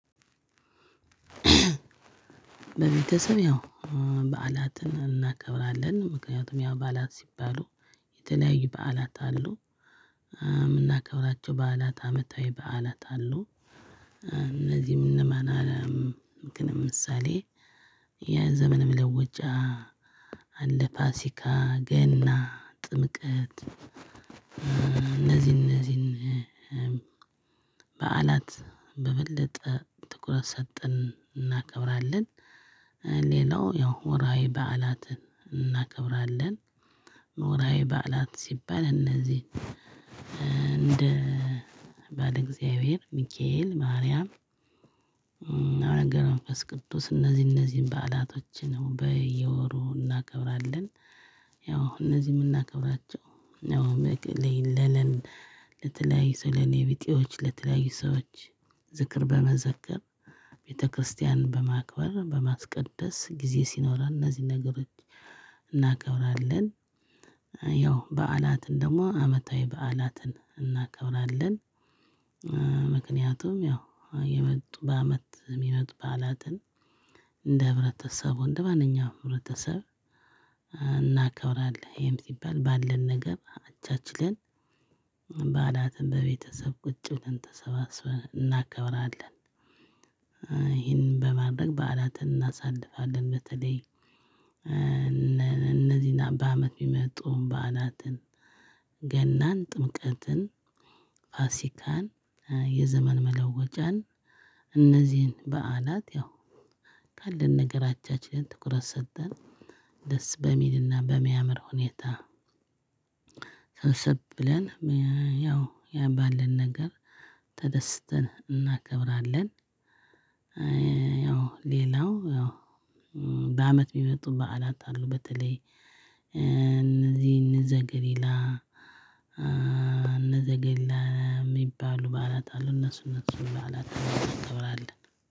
ቤትሰብ ያው በዓላትን እናከብራለን ምክንያቱም ያው በዓላት ሲባሉ የተለያዩ በዓላት አሉ። እምናከብራቸው በዓላት አመታዊ በዓላት አሉ። እነዚህም እነማን አለም ምክን ምሳሌ የዘመን መለወጫ። አለ ፋሲካ ገና ጥምቀት እነዚህን አንዚህን በዓላት በበለጠ ትኩረት ሰጠን እናከብራለን። ሌላው ያው ወርሃዊ በዓላትን እናከብራለን። ወርሃዊ በዓላት ሲባል እነዚህ እንደ በዓለ እግዚአብሔር ሚካኤል ማርያም። አቡነ ገብረ መንፈስ ቅዱስ እነዚህ አነዚህን በዓላቶችን በየወሩ እናከብራለን። ያው እነዚህ እምናከብራቸው ያው ለለን ለተለያዩ ሰው ለኔቢጤዎች ለተለያዩ ሰዎች ዝክር በመዘከር ቤተክርስቲያን በማክበር በማስቀደስ ጊዜ ሲኖረን እነዚህን ነገሮች እናከብራለን። ያው በዓላትን ደግሞ አመታዊ በዓላትን እናከብራለን። ምክንያቱም ያው እየመጡ በአመት የሚመጡ በዓላትን እንደ ህብረተሰቡ እንደ ማንኛውም ህብረተሰብ። እናከብራለን ይሄም ሲባል ባለን ነገር አቻችለን በዓላትን በቤተሰብ ቁጭ ብለን ተሰባስበን እናከብራለን። ይህንን በማድረግ በዓላትን እናሳልፋለን። በተለይ እነዚህን በአመት የሚመጡ በዓላትን ገናን ጥምቀትን ፋሲካን የዘመን መለወጫን። እነዚህን በዓላት ያው ካለን ነገር አቻችለን ትኩረት ሰተን ደስ በሚልና በሚያምር ሁኔታ ሰብሰብ ብለን ያው ባለን ነገር ተደስተን እናከብራለን። ያው ሌላው ያው በአመት የሚመጡ በዓላት አሉ። በተለይ እንዘገሊላ እንዘገሊላ የሚባሉ በዓላት አሉ። እነሱ እነሱን በዓላት እናከብራለን።